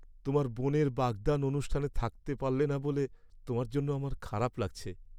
তোমার বোনের বাগদান অনুষ্ঠানে থাকতে পারলে না বলে তোমার জন্য আমার খারাপ লাগছে।